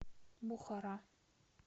бухара